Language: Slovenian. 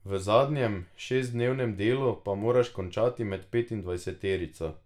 V zadnjem, šestdnevnem delu pa moraš končati med petindvajseterico.